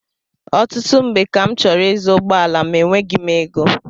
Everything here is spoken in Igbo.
Ọtụtụ mgbe ka m chọrọ ịzụ ụgbọala ma enweghị m égo